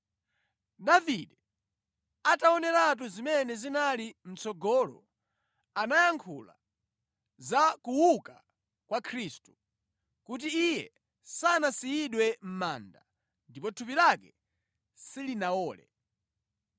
Davide ataoneratu zimene zinali mʼtsogolo anayankhula za kuuka kwa Khristu, kuti Iye sanasiyidwe mʼmanda, ndipo thupi lake silinawole.